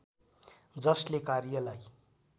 जसले कार्यलाई